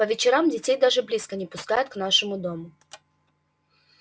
по вечерам детей даже близко не пускают к нашему дому